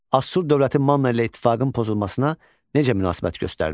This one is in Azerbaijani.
Assur dövləti Manna ilə ittifaqın pozulmasına necə münasibət göstərdi?